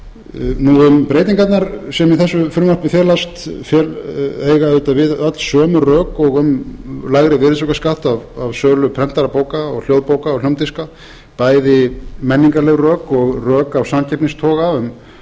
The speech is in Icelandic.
um breytingarnar sem í þessu frumvarpi felast eiga auðvitað við öll sömu rök og um lægri virðisaukaskatt af sölu prentaðra bóka hljóðbóka og hljómdiska bæði menningarleg rök og rök af samkeppnistoga um